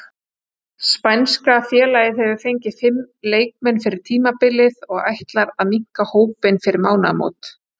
Spænska félagið hefur fengið fimm leikmenn fyrir tímabilið og ætlar að minnka hópinn fyrir mánaðarmót.